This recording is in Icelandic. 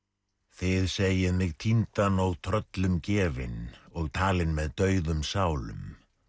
þið segið mig týndan og tröllum gefinn og talinn með dauðum sálum